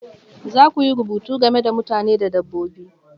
Za ku yi rubutu game da mutane da dabbobi